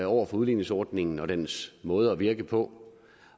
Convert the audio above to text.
over for udligningsordningen og dens måde at virke på